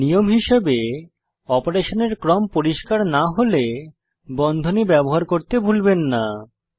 নিয়ম হিসাবে অপারেশনের ক্রম পরিষ্কার না হলে বন্ধনী ব্যবহার করতে ভুলবেন না